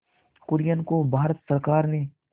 कुरियन को भारत सरकार ने